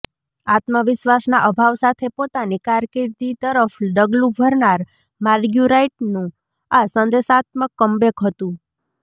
આત્મવિશ્વાસના અભાવ સાથે પોતાની કારકિર્દી તરફડગલું ભરનાર માર્ગ્યુરાઈટનું આ સંદેશાત્મક કમબેક હતું